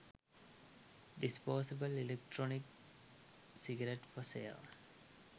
disposable electronic cigarette for sale